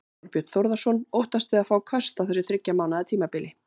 Þorbjörn Þórðarson: Óttastu að fá köst á þessu þriggja mánaða tímabili?